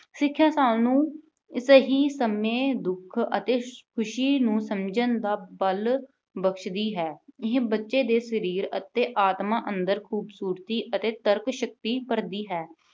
ਸਿੱਖਿਆ ਸਾਨੂੰ ਸਹੀ ਸਮੇਂ ਦੁੱਖ ਅਤੇ ਖੁਸ਼ੀ ਨੂੰ ਸਮਝਣ ਦਾ ਬਲ ਬਖਸ਼ਦੀ ਹੈ। ਇਹ ਬੱਚੇ ਦੇ ਸਰੀਰ ਅਤੇ ਆਤਮਾ ਅੰਦਰ ਖੂਬਸੂਰਤੀ ਅਤੇ ਤਰਕਸ਼ਕਤੀ ਭਰਦੀ ਹੈ।